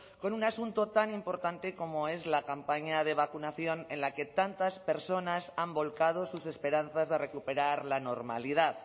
con un asunto tan importante como es la campaña de vacunación en la que tantas personas han volcado sus esperanzas de recuperar la normalidad